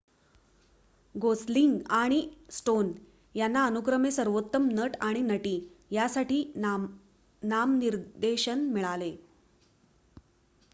Gosling आणि Stone यांना अनुक्रमे सर्वोत्तम नट आणि नटी यासाठी नामनिर्देशन मिळाले